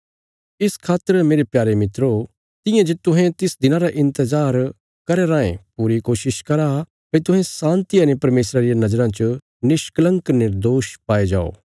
इस खातर मेरे प्यारे मित्रो तियां जे तुहें तिस दिना रा इन्तजार करया राँये पूरी कोशिश करा भई तुहें शान्तिया ने परमेशरा रिया नज़राँ च निष्कलंक कने निर्दोष पाये जाओ